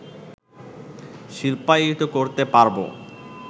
শিল্পায়িত করতে পারবো